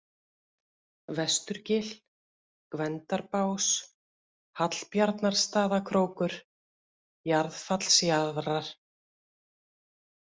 Vesturgil, Gvendarbás, Hallbjarnarstaðakrókur, Jarðfallsjaðrar